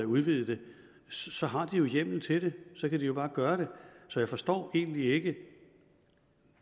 udvide det så har de jo hjemmel til det så kan de bare gøre det så jeg forstår egentlig ikke